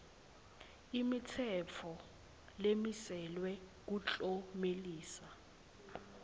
imitsetfo lemiselwe kuklomelisa